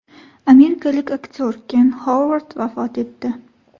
Amerikalik aktyor Ken Xovard vafot etdi.